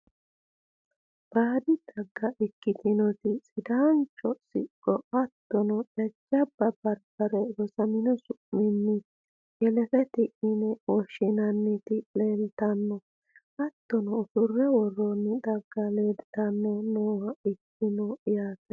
baadi xagga ikkitinoti, sidaancho siqo hattono jajjabba barbare rosamino su'minni shelefeti yine woshshinanniti leeltanno. hattono ussurre worroonni xagga leeltanno nooha ikkanno yaate.